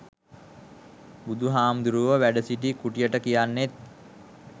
බුදු හාමුදුරුවො වැඩසිටි කුටියට කියන්නෙත්